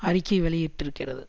அறிக்கை வெளியிட்டிருக்கிறது